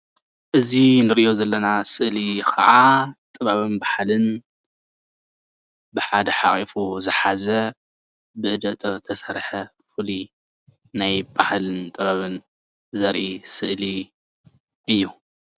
እዚ እንሪኦ ዘለና ስእሊ ከዓ ጥበብን ባህልን ብሓደ ሓቁፉ ዝሓዘ ብኢደ ጥበብ ዝተሰርሓ ፍሉይ ናይ ባህልን ጥበብን ዘርኢ ስእሊ እዩ፡፡